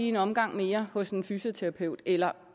en omgang mere hos en fysioterapeut eller